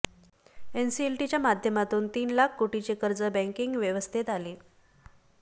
एनसीएलटीच्या माध्यमातून तीन लाख कोटींचे कर्ज बँकिंग व्यवस्थेत आले